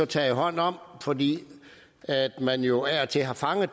taget hånd om fordi man jo af og til har fanget